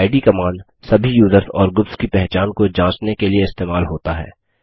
इद - command सभी users और groups की पहचान को जाँचने के लिए इस्तेमाल होता है